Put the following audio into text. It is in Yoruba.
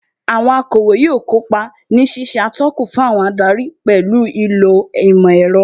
Àwọn akọ̀wé yóò kópa ní ṣíṣe atọ́kùn fún àwọn adarí pẹ̀lú ìlò ìmọ̀ ẹ̀rọ